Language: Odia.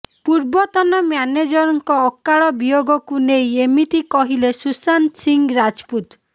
ପୂର୍ବତନ ମ୍ୟାନେଜରଙ୍କ ଅକାଳ ବିୟୋଗକୁ ନେଇ ଏମିତି କହିଲେ ସୁଶାନ୍ତ ସିଂ ରାଜପୁତ